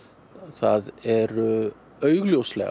það eru augljóslega